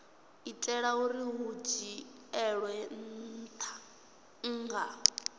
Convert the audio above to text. itela uri hu dzhielwe nha